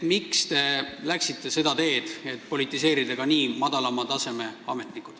Miks te läksite ka madalama taseme ametnike politiseerimise teed?